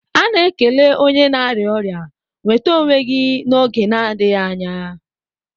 A na-ekele onye na-arịa ọrịa "nwete onwe gi n'oge na-adịghị anya